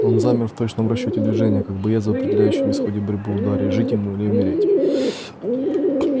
он замер в точном расчёте движения как боец в определяющем исходе борьбы ударе жить ему или умереть